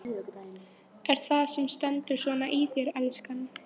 Er það það sem stendur svona í þér, elskan?